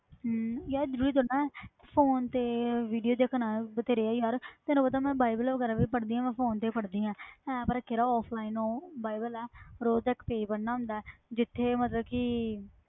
ਹਮ ਯਾਰ ਜ਼ਰੂਰੀ ਥੋੜ੍ਹੀ ਨਾ ਹੈ phone ਤੇ video ਦੇਖਣ ਵਾਲੇ ਬਥੇਰੇ ਹੈ ਯਾਰ ਤੈਨੂੰ ਪਤਾ ਮੈਂ ਬਾਈਬਲ ਵਗ਼ੈਰਾ ਵੀ ਪੜ੍ਹਦੀ ਹਾਂ ਮੈਂ phone ਤੇ ਹੀ ਪੜ੍ਹਦੀ ਹਾਂ app ਰੱਖਿਆ offline ਉਹ ਬਾਈਬਲ ਹੈ ਰੋਜ਼ ਦਾ ਇੱਕ page ਪੜ੍ਹਣਾ ਹੁੰਦਾ ਹੈ ਜਿੱਥੇ ਮਤਲਬ ਕਿ